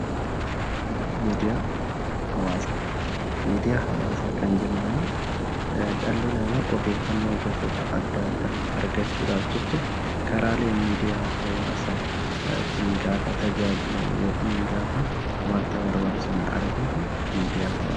Miidiyaa Hawwaasaa: Miidiyaa hawwaasaa kan jennu immoo dhalli namaa odeeffannoo gosoota adda addaa argachuudhaaf jecha karaalee miidiyaa hawwaasaatiin gaafa tajaajilamu, gaafa wanta barbaadu sana argatu miidiyaa hawwaasa jedhama.